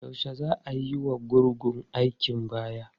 Yaushe za a yiwa gurgun aikin baya?